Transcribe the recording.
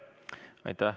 Aitäh!